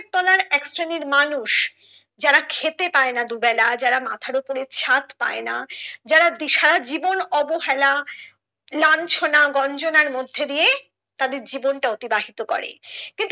এক শ্রেণীর মানুষ যারা খেতে পায়না দুবেলা যারা মাথার উপরে ছাদ পায়না যারা দিশাহারা জীবন অবহেলা লাঞ্ছনা গঞ্জনার মধ্যে দিয়ে তাদের জীবন টা অতিবাহিত করে।